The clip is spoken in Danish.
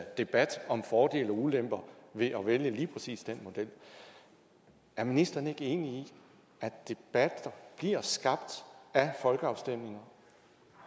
debat om fordele og ulemper ved at vælge lige præcis den model er ministeren ikke enig i at debat bliver skabt af folkeafstemninger